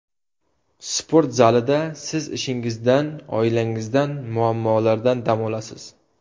Sport zalida siz ishingizdan, oilangizdan, muammolardan dam olasiz.